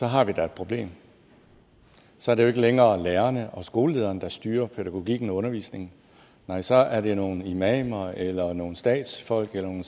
har vi da et problem så er det jo ikke længere lærerne og skolelederen der styrer pædagogikken og undervisningen nej så er det nogle imamer eller nogle statsfolk eller nogle